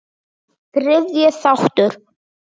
Þriðji þáttur